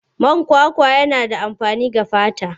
Man kwakwa yana da amfani ga fata.